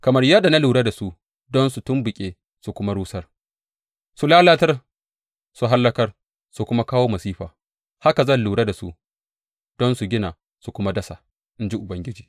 Kamar yadda na lura da su don su tumɓuke su kuma rusar, su lalatar, su hallaka su kuma kawo masifa, haka zan lura da su don su gina su kuma dasa, in ji Ubangiji.